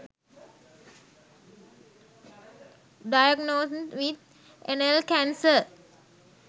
diagnosed with anal cancer